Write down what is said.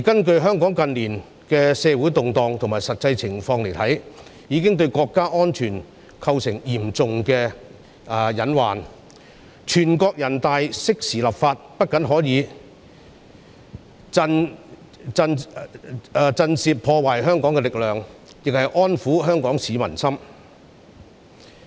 從香港近年的社會動盪及實際情況來看，有關問題已經對國家安全構成嚴重的隱患，人大常委會適時立法，不僅可以震懾破壞香港的力量，亦可安撫香港市民的心。